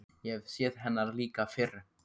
Ég hef séð hennar líka fyrr.